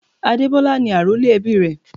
Adebola ni àrólé ẹbí rè.